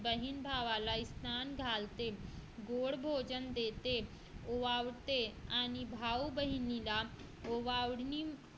बहिण भावाला स्नान घालते गोड भजन देते आणि भाऊ बहिणीला ओवाळणी